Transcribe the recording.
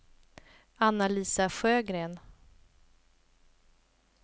Anna-Lisa Sjögren